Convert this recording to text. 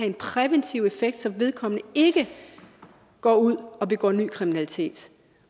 en præventiv effekt så vedkommende ikke går ud og begår ny kriminalitet